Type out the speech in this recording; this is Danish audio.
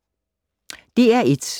DR1